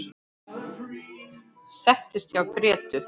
Settist hjá Grétu.